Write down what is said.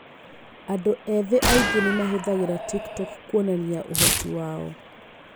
Andũ ethĩ aingĩ nĩ mahũthagĩra TikTok kuonania ũhoti wao.